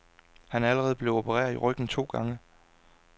Han er allerede blevet opereret i ryggen to gange.